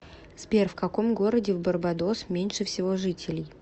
сбер в каком городе в барбадос меньше всего жителей